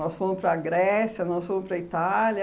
Nós fomos para Grécia, nós fomos para Itália.